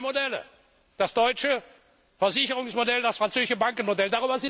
Da gibt es zwei Modelle, das deutsche Versicherungsmodell und das französische Bankenmodell.